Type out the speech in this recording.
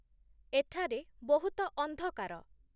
ଏଠାରେ ବହୁତ ଅନ୍ଧକାର